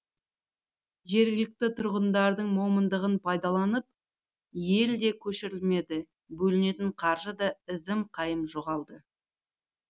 жергілікті тұрғындардың момындығын пайдаланып ел де көшірілмеді бөлінетін қаржы да ізім қайым жоғалды